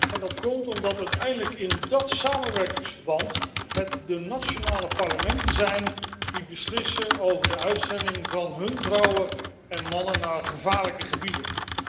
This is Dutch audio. En dat komt omdat uiteindelijk in dat samenwerkingsverband het de nationale parlementen zijn die beslissen over de uitzending van hun vrouwen en mannen naar gevaarlijke gebieden.